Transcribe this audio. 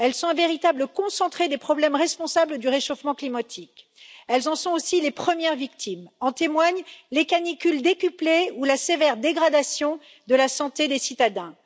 Elles sont un véritable concentré des problèmes responsables du réchauffement climatique. Elles en sont aussi les premières victimes. En témoignent les canicules décuplées ou la sévère dégradation de la santé des citadins.